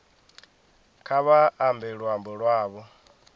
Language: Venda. kha vha ambe luambo lwavho